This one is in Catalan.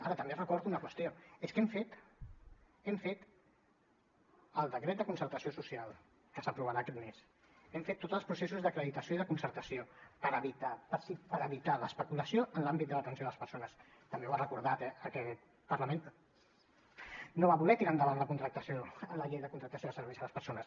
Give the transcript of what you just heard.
ara també recordo una qüestió és que hem fet hem fet el decret de concertació social que s’aprovarà aquest mes hem fet tots els processos d’acreditació i de concertació per evitar l’especulació en l’àmbit de l’atenció a les persones també ho ha recordat eh aquest parlament no va voler tirar endavant la contractació la llei de contractes de serveis a les persones